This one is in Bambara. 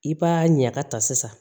I b'a ɲaga ta sisan